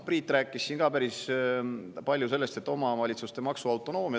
Priit rääkis siin päris palju ka omavalitsuste maksuautonoomiast.